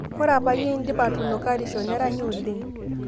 Kore payie edipi aatunukarisho neranyi oleng